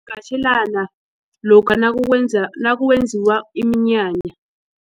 lokha nakwenziwa iminyanya.